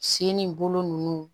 Sen ni bolo ninnu